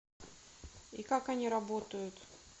и как они работают